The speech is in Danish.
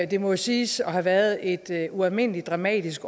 det må siges at have været et ualmindelig dramatisk